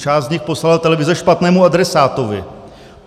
Část z nich poslala televize špatnému adresátovi.